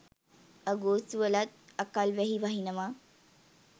අගෝස්තු වලත් අකල් වැහි වහිනව.